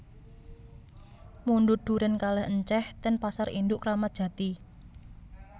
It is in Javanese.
Mundhut duren kalih enceh ten pasar induk Kramat Jati